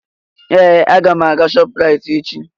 Ee! Aga m aga Shoprite echi.